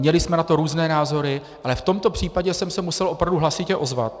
Měli jsme na to různé názory, ale v tomto případě jsem se musel opravdu hlasitě ozvat.